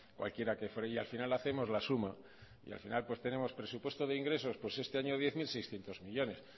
cualquiera que fuera y al final hacemos la suma y al final pues tenemos presupuesto de ingresos pues este año diez mil seiscientos millónes